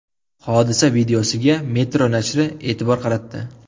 Hodisa videosiga Metro nashri e’tibor qaratdi .